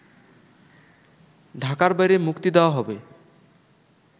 ঢাকার বাইরে মুক্তি দেওয়া হবে